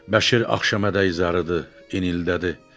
Bəşir axşama qədər izah edir, inildədi.